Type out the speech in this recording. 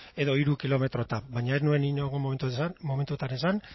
edo hiru kilometro tav baina ez nuen inongo momentutan esan